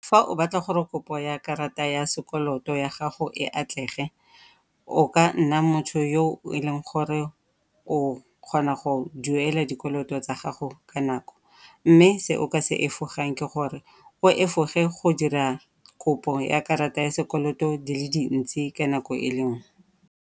Fa o batla gore kopo ya karata ya sekoloto ya gago e atlege, o ka nna motho yo e leng gore o kgona go duela dikoloto tsa gago ka nako mme se o ka se efogang ke gore o efoge go dira kopo ya karata ya sekoloto di le dintsi ka nako e le nngwe.